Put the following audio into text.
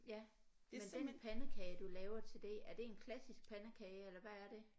Ja men den pandekage du laver til det er det en klassisk pandekage eller hvad er det